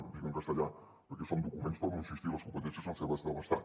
ho dic en castellà perquè són documents hi torno a insistir les competències són seves de l’estat